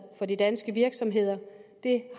for de danske virksomheder